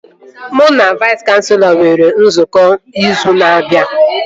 Mụ na Vais kanselọ nwere nzukọ izu na-abịa